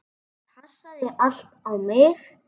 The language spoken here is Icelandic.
Það passaði allt á mig.